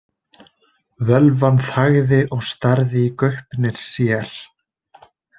Völvan þagði og starði í gaupnir sér.